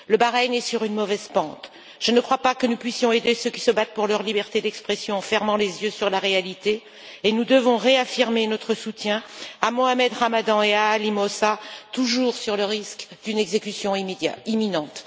Le Bahreïn est sur une mauvaise pente. Je ne crois pas que nous puissions aider ceux qui se battent pour leur liberté d'expression en fermant les yeux sur la réalité. Nous devons réaffirmer notre soutien à Mohamed Ramadan et à Ali Moosa, qui courent toujours le risque d'une exécution imminente.